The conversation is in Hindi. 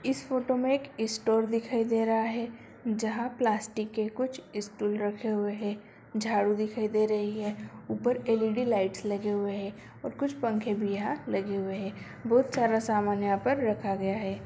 इस फोटो में एक स्टोर दिखाई दे रहा है जहाँ प्लास्टिक के कुछ स्टूल रखे हुए है झाड़ू दिखाई दे रही है ऊपर एल.ई.डी. लाइट्स लगे हुए है और कुछ पंखे भी यहाँ लगे हुए है बहुत सारा सामान यहाँ पर रखा गया है।